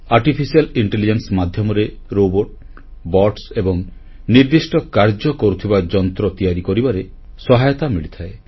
artificial intelligence ମାଧ୍ୟମରେ robot bots ଏବଂ ନିର୍ଦ୍ଦିଷ୍ଟ କାର୍ଯ୍ୟ କରୁଥିବା ଯନ୍ତ୍ର ତିଆରି କରିବାରେ ସହାୟତା ମିଳିଥାଏ